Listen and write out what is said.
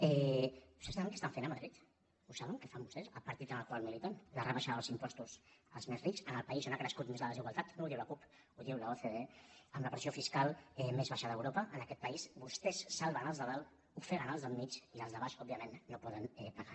vostès saben què estan fent a madrid ho saben què fan vostès el partit en el qual militen la rebaixa dels impostos als més rics en el país on ha crescut més la desigualtat no ho diu la cup ho diu l’ocde amb la pressió fiscal més baixa d’europa en aquest país vostès salven els de dalt ofeguen els del mig i els de baix òbviament no poden pagar